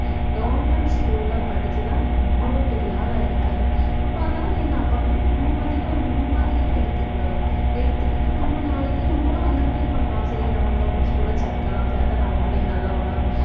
government school ல படிச்சுதான் இவ்வளவு பெரிய ஆளாயிருக்காரு அப்ப அதெல்லாம் என்னஅப்ப அதெல்லாம் நம்ம வந்துட்டு ஒரு முன்மாதிரியா எடுத்துக்கிடணும், எடுத்துக்கிட்டு நம்ம நாளைக்கு நம்மளும் அந்த மாதிரி பண்ணா சரி நம்ம government school ல சேர்க்கலாம் சேர்த்தா நம்ம பிள்ளைங்க நல்லா வளரும்.